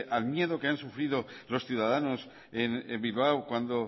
al miedo que han sufrido los ciudadanos en bilbao cuando